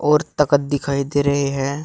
और तखत दिखाई दे रहे है।